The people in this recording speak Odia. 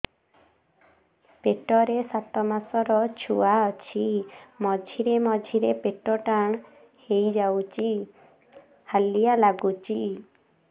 ପେଟ ରେ ସାତମାସର ଛୁଆ ଅଛି ମଝିରେ ମଝିରେ ପେଟ ଟାଣ ହେଇଯାଉଚି ହାଲିଆ ଲାଗୁଚି